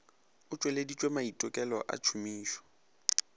o tšweleditšwe maitekelo a tšhomišo